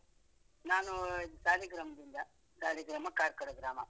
ನಾನು ಸಾಲಿಗ್ರಾಮದಿಂದ, ಸಾಲಿಗ್ರಾಮ ಕಾರ್ಕಳ ಗ್ರಾಮ.